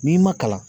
N'i ma kalan